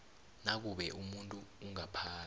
nakube umuntu ongaphasi